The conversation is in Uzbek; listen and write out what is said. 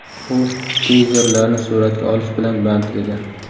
U geyzerlarni suratga olish bilan band edi.